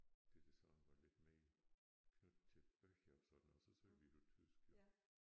Det det sådan var lidt mere knyttet til bøger og sådan noget så sagde vi det på tysk jo